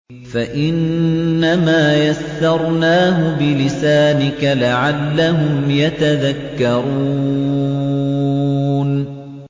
فَإِنَّمَا يَسَّرْنَاهُ بِلِسَانِكَ لَعَلَّهُمْ يَتَذَكَّرُونَ